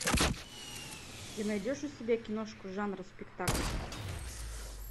ты найдешь у себя киношку жанра спектакль